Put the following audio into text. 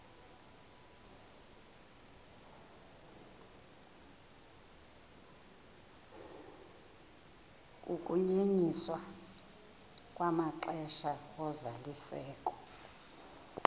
ukunyenyiswa kwamaxesha ozalisekiso